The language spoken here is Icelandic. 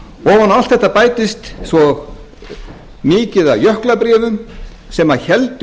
á allt þetta bætist svo mikið af jöklabréfum sem héldu